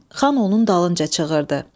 Xan onun dalınca çığırdı.